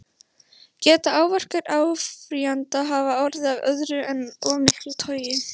Geta áverkar áfrýjanda hafa orðið af öðru en of miklu togi?